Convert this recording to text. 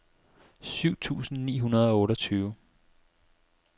syv tusind ni hundrede og otteogtyve